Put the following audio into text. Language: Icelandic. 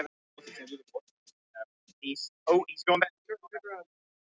Ragnhildur sagði að Samtökin hygðust höfða mál gegn lögreglunni en